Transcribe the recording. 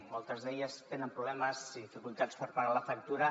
moltes d’elles tenen problemes i dificultats per pagar la factura